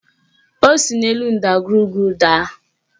O si n'elu ndagwurugwu daa